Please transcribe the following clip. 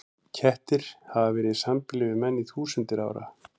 Kettir hafa verið í sambýli við menn í þúsundir ára.